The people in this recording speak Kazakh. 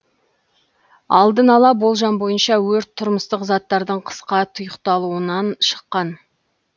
алдын ала болжам бойынша өрт тұрмыстық заттардың қысқа тұйықталуынан шыққан